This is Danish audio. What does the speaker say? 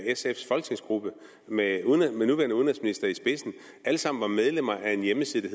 sfs folketingsgruppe med den nuværende udenrigsminister i spidsen alle sammen var medlemmer af en hjemmeside